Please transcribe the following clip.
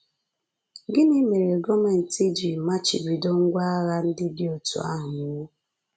Gịnị mere gọọmenti ji machibido ngwá agha ndị dị otú ahụ iwu?